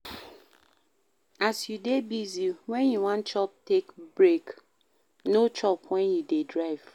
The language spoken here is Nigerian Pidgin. As you dey busy, when you wan chop, take break, no chop when you dey drive